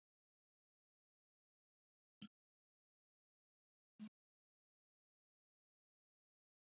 Herra Takashi rétti upp hönd og var rjóður í framan.